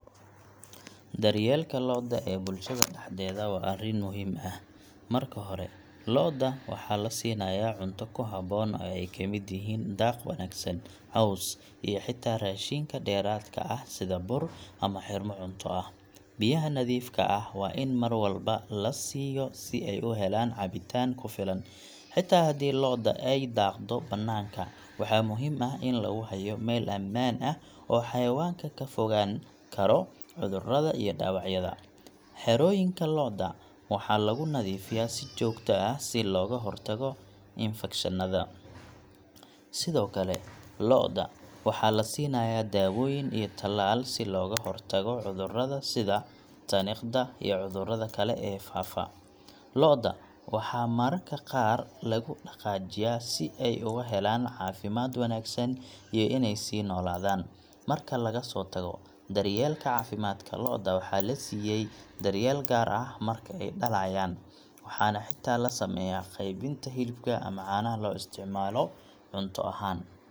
Daryeelka lo'da ee bulshada dhexdeeda waa arrin muhiim ah. Marka hore, lo'da waxaa la siinayaa cunto ku haboon oo ay ka mid yihiin daaq wanaagsan, caws, iyo xitaa raashinka dheeraadka ah sida bur ama xirmo cunto ah. Biyaha nadiifka ah waa in mar walba la siiyo si ay u helaan cabitaan ku filan. Xitaa haddii lo'da ay daaqdo bannaanka, waxaa muhiim ah in lagu hayo meel ammaan ah oo xayawaanka ka fogaan karo cudurrada iyo dhaawacyada. Xerooyinka lo'da waxaa lagu nadiifiyaa si joogto ah si looga hortago infakshannada. Sidoo kale, lo'da waxaa la siinayaa daawooyin iyo talaal si looga hortago cudurrada sida tuniqada iyo cudurrada kale ee faafa. Lo'da waxaa mararka qaar lagu dhaqaajiyaa si ay uga helaan caafimaad wanaagsan iyo inay sii noolaadaan. Marka laga soo tago daryeelka caafimaadka, lo'da waxaa la siiyay daryeel gaar ah marka ay dhalayaan, waxaana xitaa la sameeyaa qaybinta hilibka ama caanaha loo isticmaalo cunto ahaan.